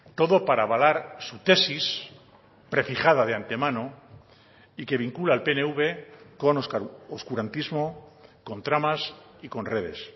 todo para avalar su tesis prefijada de antemano y que vincula al pnv con oscurantismo con tramas y con redes